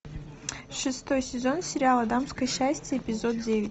шестой сезон сериала дамское счастье эпизод девять